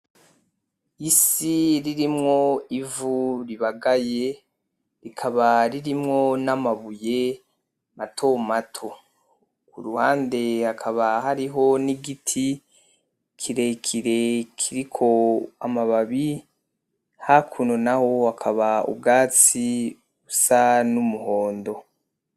Isi ririmwo ivu ribagaye, rikaba ririmwo n'amabuye mato mato, ku ruhande hakaba hariho n'igiti kirekire kiriko amababi, hakuno naho hakaba ubwatsi busa n'umuhondo.